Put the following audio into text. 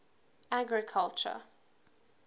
agriculture